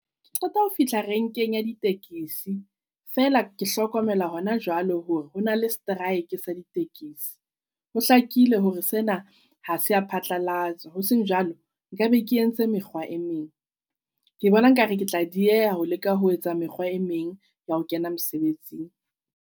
Ke qeta ho fihla renkeng ya ditekesi. Feela ke hlokomela hona jwale hore ho na le strike sa ditekesi, ho hlakile hore sena ha se a phatlalatswa. Hoseng jwalo nkabe ke entse mekgwa e meng. Ke bona nkare ke tla dieha ho leka ho etsa mekgwa e meng ya ho kena mosebetsing.